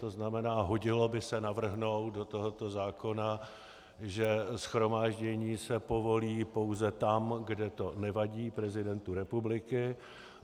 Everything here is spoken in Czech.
To znamená, hodilo by se navrhnout do tohoto zákona, že shromáždění se povolí pouze tam, kde to nevadí prezidentu republiky.